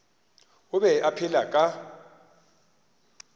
o be a phela ka